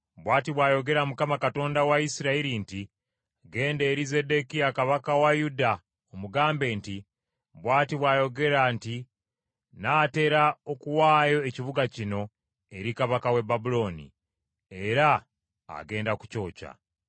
“Bw’ati bw’ayogera Mukama , Katonda wa Isirayiri nti, Genda eri Zeddekiya kabaka wa Yuda omugambe nti, ‘Bw’ati bw’ayogera nti, Nnaatera okuwaayo ekibuga kino eri kabaka w’e Babulooni, era agenda kukyokya.